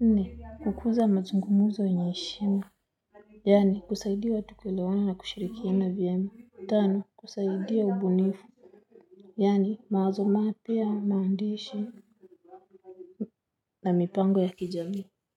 Nne kukuza mazungumuzo yenye eshima. Yani kusaidia watu kuelewana na kushirikiana vyema. Tano kusaidia ubunifu. Yani mawazo mapya maandishi na mipango ya kijamii.